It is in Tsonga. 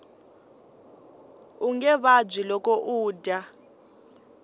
unge vabyi loko u dya